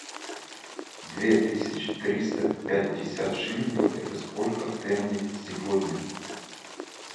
две тысячи триста пятьдесят шиллингов это сколько в тенге сегодня